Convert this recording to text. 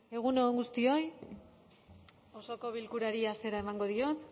egun on guztioi osoko bilkurari hasiera emango diot